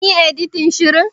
Kin yi editin shirin.